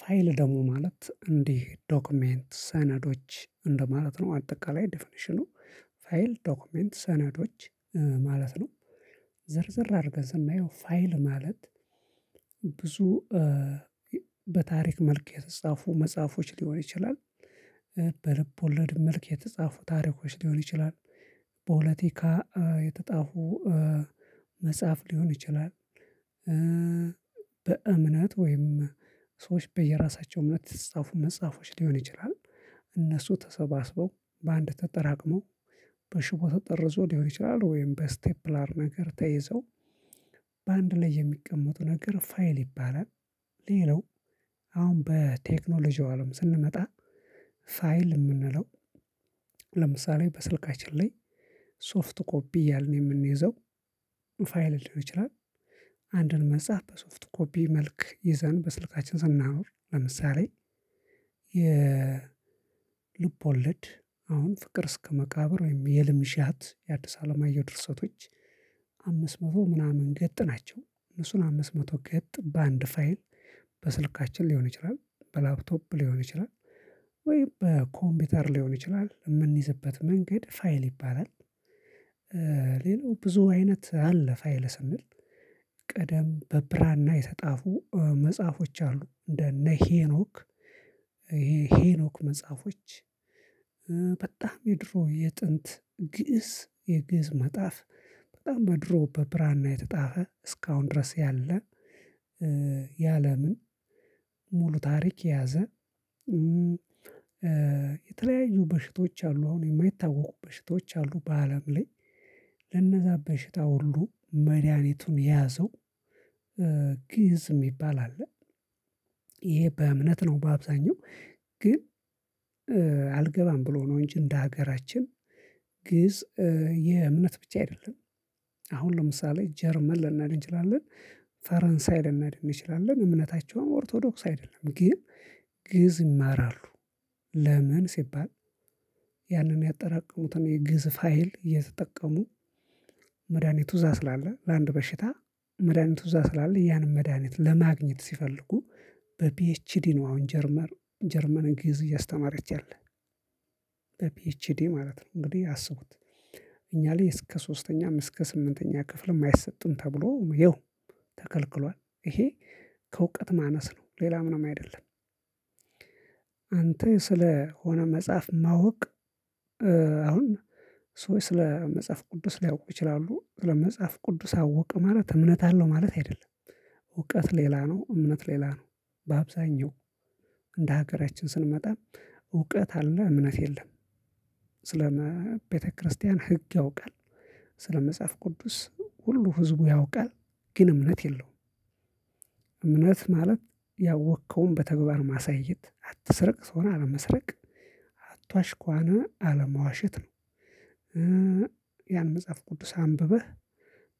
ፋይል ደግሞ ማለት እንዲህ ዶክመንት፣ ሰነዶች እንደማለት ነው አጠቃላይ ዴፊኒሽኑ። ፋይል፣ ዶክመንት ሰነዶች ማለት ነው። ዝርዝር አድርገን ስናየው ፋይል ማለት ብዙ በታሪክ መልክ የተጻፉ መጽሐፎች ሊሆን ይችላል፣ በልብ ወለድ መልክ የተጻፉ ታሪኮች ሊሆን ይችላል፣ ፖለቲካ የተጻፉ መጽሐፍ ሊሆን ይችላል። በእምነት ወይም ሰዎች በየራሳቸው እውነት የጻፉ መጽሐፎች ሊሆን ይችላል፤ እነሱ ተሰባስበው በአንድ ተጠራቅመው በሽቦ ተጠርዘው ሊሆን ይችላል ወይም በስቴፕላር ነገር ተይዘው በአንድ ላይ የሚቀመጡ ነገር ፋይል ይባላል፤ ሌላው አሁን በቴክኖሎጂው አለም ስንመጣ ፋይል የምንለው ለምሳሌ በስልካችን ላይ ሶፍት ኮፒ ያልን የምንይዘው ፋይል ሊሆን ይችላል፤ አንድን መጽሐፍ በሶፍት ኮፒ መልክ ይዘን በስልካችን ስናኖር ለምሳሌ የልብ ወለድ አሁን ፍቅር እስከ መቃብር ወይም የህልምዣት የአዲስ ዓለማየሁ ድርሰቶች አምስት መቶ ምናምን ገጽ ናቸው፤ እነሱን አምስት መቶ ገጽ በአንድ ፋይል በስልካችን ሊሆን ይችላል፣ በላፕቶፕ ሊሆን ይችላል፣ ወይ በኮምፒውተር ሊሆን ይችላል የምንይዝበት መንገድ ፋይል ይባላል። ሌላው፣ ብዙ አይነት አለ ፋይል ስንል ደም በብራና የተጻፉ መጽሐፎች አሉ፤ እንደ እነ ሄኖክ፣ ይሄ ሄኖክ መጽሐፎች በጣም የድሮ የጥንት ግእዝ፣ የግእዝ መጽሐፍ፣ በጣም በድሮ በብራና የተጻፈ እስካሁን ድረስ ያለ የዓለምን ሙሉ ታሪክ የያዘ የተለያዩ በሽታዎች አሉ፣ አሁን የማይታወቁ በሽታዎች አሉ በአለም ላይ፤ ለነዛ በሽታ ሁሉ መድኃኒቱን የያዘው ግእዝ የሚባል አለ፤ ይሄ በእምነት ነው በአብዛኛው ግን አልገባም ብሎ ነው እንጂ እንደ ሀገራችን ግእዝ የእምነት ብቻ አይደለም፤ አሁን ለምሳሌ ጀርመን ልንሄድ እንችላለን፣ ፈረንሳይ ልንሄድ እንችላለን፣ እምነታቸውም ኦርቶዶክስ አይደለም ግን ግእዝ ይማራሉ። ለምን ሲባል ያንን ያጠራቀሙትን የግእዝ ፋይል የተጠቀሙ፤ መድሃኒቱ እዛ ስላለ፣ ለአንድ በሽታ መድሃኒቱ እዛ ስላለ፣ ያንን መድሃኒት ለማግኘት ሲፈልጉ በፒኤችዲ ነው አሁን ጀርመን፣ ግእዝ እያስተማረች ያለች። በፒኤችዲ ማለት ነው እንግዲህ አስቡት፤ እኛ ላይ እስከ ሶስተኛ እስከ ስምንተኛ ክፍል አይሰጥም ተብሎ ይኸው ተከልክሏል፤ ይሄ ከእውቀት ማነስ ነው፣ ሌላ ምንም አይደለም። አንትን ስለሆነ መጽሐፍ ማወቅ አሁን ስለ መጽሐፍ ቅዱስ ሊያውቁ ይችላሉ፤ ስለ መጽሐፍ ቅዱስ አወቀ ማለት እምነት አለው ማለት አይደለም። እውቀት ሌላ ነው፣ እምነት ሌላ ነው፤ በአብዛኛው እንደ ሀገራችን ስንመጣ እውቀት አለ እምነት የለም፣ ስለ ቤተክርስቲያን ህግ ያውቃል፣ ስለ መጽሐፍ ቅዱስ ሁሉ ህዝቡ ያውቃል ግን እምነት የለውም፤ እምነት ማለት ያወቅከውን በተግባር ማሳየት፣ አትስረቅ፣ ሰውን አለመስረቅ አትዋሽ ካለ አለመዋሸት ነው። ያን መጽሐፍ ቅዱስ አንብበህ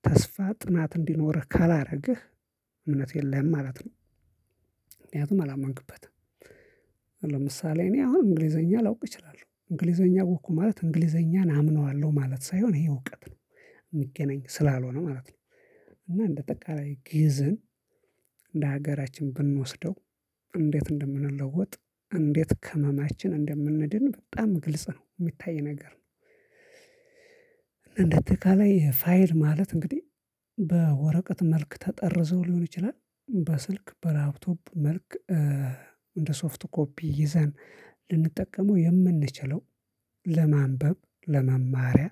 ተስፋ ጽናት እንዲኖርህ ካላደረግህ እምነት የለህም ማለት ነው፤ ምክንያቱም አላመንክበትም። ለምሳሌ እኔ አሁን እንግሊዘኛ ላውቅ እችላለሁ፤ እንግሊዘኛ አወቅሁ ማለት እንግሊዘኛን አምነዋለሁ ማለት ሳይሆን ይሄ እውቀት ነው፣ ሚገናኝ ስላልሆነ ማለት ነው፤ እና እንደ አጠቃላይ ግእዝን እንደ ሀገራችን ብንወስደው እንዴት እንደምንለወጥ፣ እንዴት ከህመማችን እንደምንድን በጣም ግልጽ ነው የሚታይ ነገር እንደ በአጠቃላይ ፋይል ማለት እንግዲ በወረቀት መልክ ተጠርዘው ሊሆን ይችላል፣ በስልክ በላፕቶፕ መልክ እንደ ሶፍት ኮፒ ይዘን ልንጠቀመው የምንችለው ለማንበብ ለመማሪያ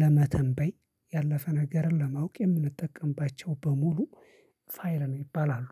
ለመተንበይ፣ ያለፈ ነገርን ለማወቅ የምንጠቀምባቸው በሙሉ ፋይል ይባላሉ።